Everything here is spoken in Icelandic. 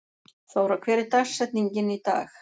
Þóra, hver er dagsetningin í dag?